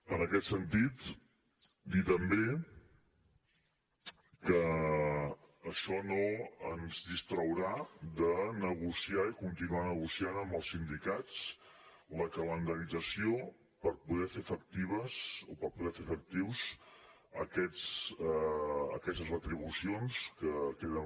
en aquest sentit dir també que això no ens distraurà de negociar i continuar negociant amb els sindicats la calendarització per poder fer efectives aquestes retribucions que queden